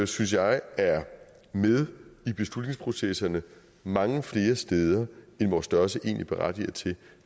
synes jeg er med i beslutningsprocesserne mange flere steder end vores størrelse egentlig berettiger til